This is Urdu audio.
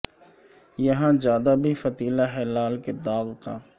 یاں جادہ بھی فتیلہ ہے لالے کے داغ کا